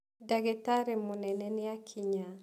Dagĩtarĩ mũnene nĩakinya.